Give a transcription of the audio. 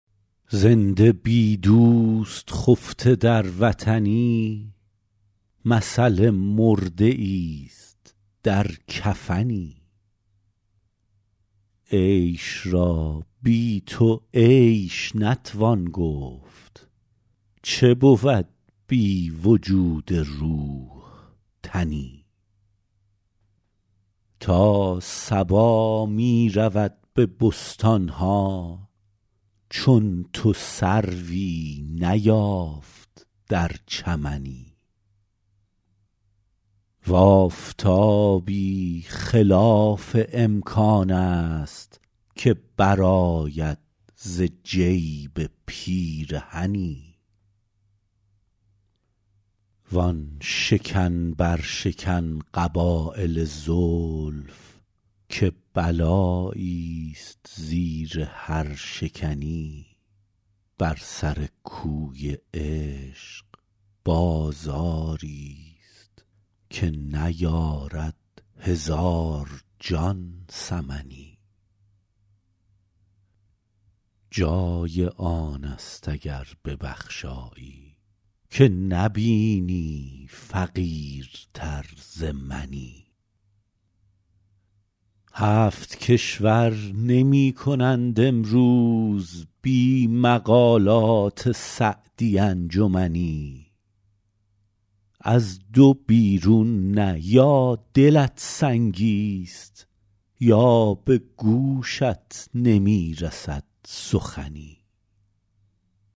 زنده بی دوست خفته در وطنی مثل مرده ایست در کفنی عیش را بی تو عیش نتوان گفت چه بود بی وجود روح تنی تا صبا می رود به بستان ها چون تو سروی نیافت در چمنی و آفتابی خلاف امکان است که برآید ز جیب پیرهنی وآن شکن برشکن قبایل زلف که بلاییست زیر هر شکنی بر سر کوی عشق بازاریست که نیارد هزار جان ثمنی جای آن است اگر ببخشایی که نبینی فقیرتر ز منی هفت کشور نمی کنند امروز بی مقالات سعدی انجمنی از دو بیرون نه یا دلت سنگیست یا به گوشت نمی رسد سخنی